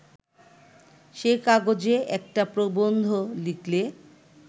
সে কাগজে একটা প্রবন্ধ লিখলে